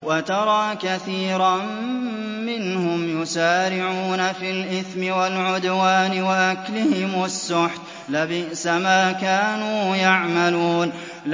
وَتَرَىٰ كَثِيرًا مِّنْهُمْ يُسَارِعُونَ فِي الْإِثْمِ وَالْعُدْوَانِ وَأَكْلِهِمُ السُّحْتَ ۚ لَبِئْسَ مَا كَانُوا يَعْمَلُونَ